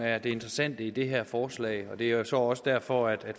er det interessante i det her forslag og det er så også derfor at